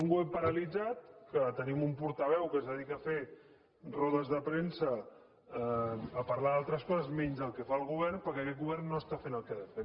un govern paralitzat en què tenim un portaveu que es dedica a fer rodes de premsa i a parlar d’altres coses menys del que fa el govern per·què aquest govern no està fent el que ha de fer